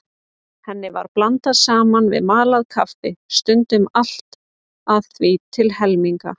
Henni var blandað saman við malað kaffi, stundum allt að því til helminga.